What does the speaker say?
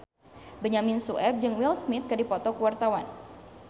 Benyamin Sueb jeung Will Smith keur dipoto ku wartawan